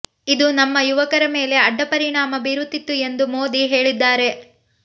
ಇದು ನಮ್ಮ ಯುವಕರ ಮೇಲೆ ಅಡ್ಡ ಪರಿಣಾಮ ಬೀರುತ್ತಿತ್ತು ಎಂದು ಮೋದಿ ಹೇಳಿದ್ದಾರೆ